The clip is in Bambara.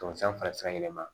Tamasiyɛn fana yɛlɛma